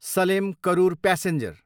Salem, Karur passenger